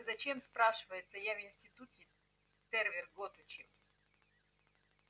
зачем спрашивается я в институте тервер год учил